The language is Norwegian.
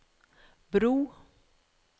bro